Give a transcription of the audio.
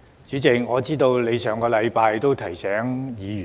主席，你上星期已提醒委員